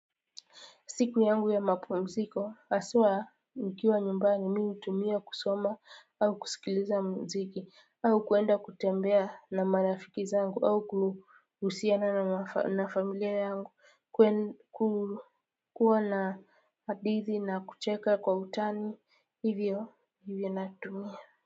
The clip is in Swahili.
Siku yangu ya mapumziko haswa nikiwa nyumbani mimi hutumia kusoma au kusikiliza muziki au kuenda kutembea na marafiki zangu au kuhusiana na familia yangu kuwa na hadithi na kucheka kwa utani hivyo ndivyo natumia.